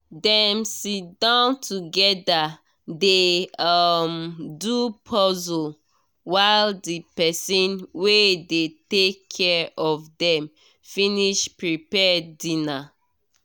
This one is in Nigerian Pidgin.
dem sit down together dey um do puzzle while the person wey dey take care of dem finish prepare dinner